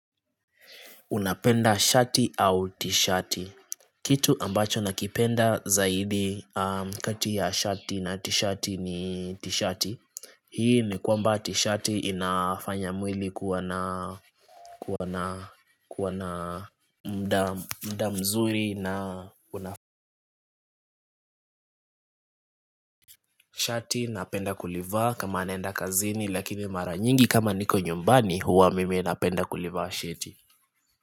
Unapenda shati au tishati? Kitu ambacho nakipenda zaidi kati ya shati na tishati ni tishati Hii ni kwamba tishati inafanya mwili kuwa na kuwa na kuwa na muda muda mzuri na shati napenda kulivaa kama naenda kazini lakini mara nyingi kama niko nyumbani huwa mimi napenda kulivaa shati.